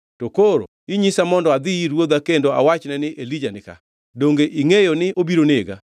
To koro inyisa mondo adhi ir ruodha kendo awachne ni, ‘Elija ni ka.’ Donge ingʼeyo ni obiro nega!”